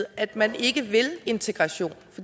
at man ikke vil integration